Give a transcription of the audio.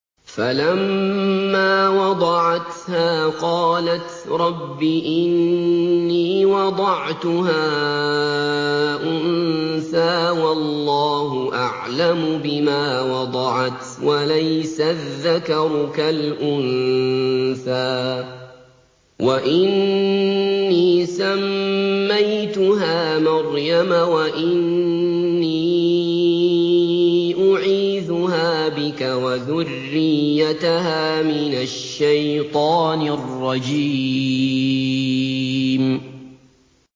فَلَمَّا وَضَعَتْهَا قَالَتْ رَبِّ إِنِّي وَضَعْتُهَا أُنثَىٰ وَاللَّهُ أَعْلَمُ بِمَا وَضَعَتْ وَلَيْسَ الذَّكَرُ كَالْأُنثَىٰ ۖ وَإِنِّي سَمَّيْتُهَا مَرْيَمَ وَإِنِّي أُعِيذُهَا بِكَ وَذُرِّيَّتَهَا مِنَ الشَّيْطَانِ الرَّجِيمِ